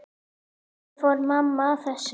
Hvernig fór mamma að þessu?